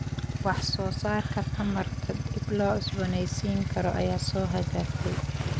Wax soo saarka tamarta dib loo cusboonaysiin karo ayaa soo hagaagtay.